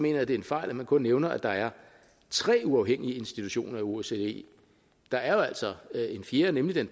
jeg at det er en fejl at man kun nævner at der er tre uafhængige institutioner i osce der er jo altså en fjerde nemlig den